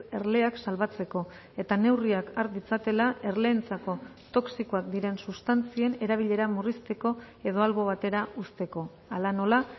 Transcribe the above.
erleak salbatzeko eta neurriak har ditzatela erleentzako toxikoak diren sustantzien erabilera murrizteko edo albo batera uzteko hala nola